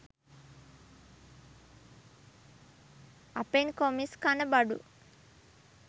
අපෙන් කොමිස් කන බඩු